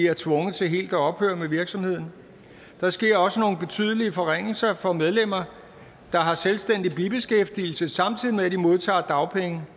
er tvunget til helt at ophøre med virksomheden der sker også nogle betydelige forringelser for medlemmer der har selvstændig bibeskæftigelse samtidig med at de modtager dagpenge